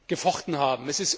gefochten haben.